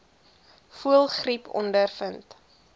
voëlgriep ondervind